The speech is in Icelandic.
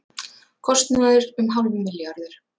Kostnaður um hálfur milljarður